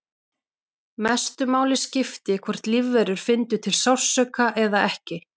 Mestu máli skipti hvort lífverur fyndu til sársauka eða ekki.